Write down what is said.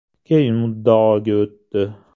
Keyin muddaoga o‘tdi.